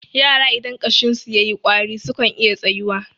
yara idan ƙashinsu ya yi ƙwari sukan iya tsayuwa